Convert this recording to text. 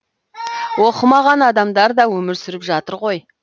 оқымаған адамдар да өмір сүріп жатыр ғой